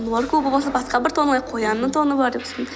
норка болмаса басқа бір тон алайық қоянның тоны бар деп